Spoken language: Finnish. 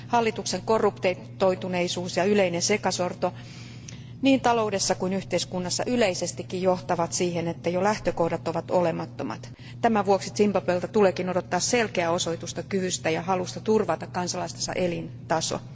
Hallituksen korruptoituneisuus ja yleinen sekasorto niin taloudessa kuin yhteiskunnassa yleisestikin johtavat siihen, että jo lähtökohdat ovat olemattomat. Tämän vuoksi Zimbabwelta tuleekin odottaa selkeää osoitusta kyvystä ja halusta turvata kansalaistensa elintaso.